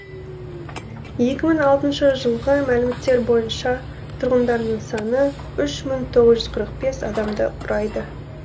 екі мың алтыншы жылғы мәліметтер бойынша тұрғындарының саны үш мың тоғыз жүз қырық бес адамды құрайды